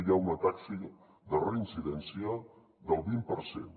hi ha una taxa de reincidència del vint per cent